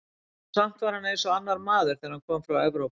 Og samt var hann eins og annar maður, þegar hann kom frá Evrópu.